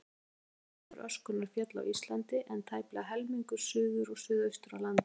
Rúmlega helmingur öskunnar féll á Íslandi, en tæplega helmingur suður og suðaustur af landinu.